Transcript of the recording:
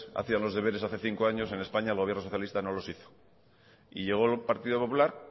hacían los deberes hace cinco años en españa el gobierno socialista no los hizo y llegó el partido popular